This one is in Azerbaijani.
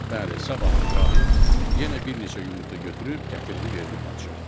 Bəli, sabah İbrahim yenə bir neçə yumurta götürüb gətirdi verdi padşaha.